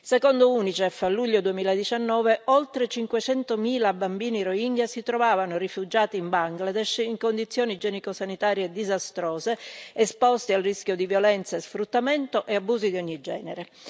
Secondo l'UNICEF, a luglio 2019, oltre 500 mila bambini rohingya si trovavano rifugiati in Bangladesh in condizioni igienico sanitarie disastrose, esposti al rischio di violenze, sfruttamento e abusi di ogni genere.